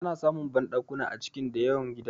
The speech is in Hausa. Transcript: Ana samun banɗakuna a cikin da yawan gidaje